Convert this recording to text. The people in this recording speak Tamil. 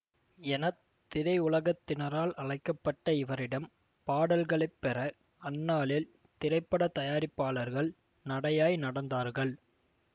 என திரையுலகத்தினரால் அழைக்க பட்ட இவரிடம் பாடல்களைப்பெற அந்நாளில் திரைப்பட தயாரிப்பாளர்கள் நடையாய் நடந்தார்கள்